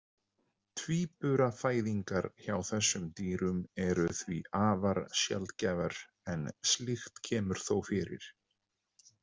Tvíburafæðingar hjá þessum dýrum eru því afar sjaldgæfar en slíkt kemur þó fyrir.